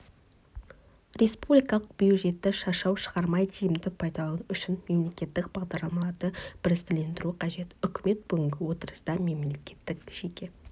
республикалық бюджетті шашау шығармай тиімді пайдалану үшін мемлекеттік бағдарламаларды бірізділендіру қажет үкімет бүгінгі отырыста мемлекеттік жеке